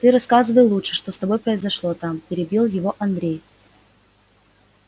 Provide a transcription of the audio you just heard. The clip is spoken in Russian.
ты рассказывай лучше что с тобой произошло там перебил его андрей